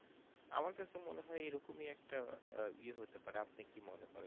আমাদের তো মনে হয় এরকম এ একটা আহ ই হতে পারে আপনি কি মনে করে